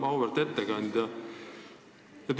Auväärt ettekandja!